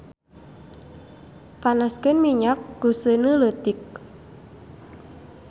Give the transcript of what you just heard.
Panaskeun minyak ku seuneu leutik.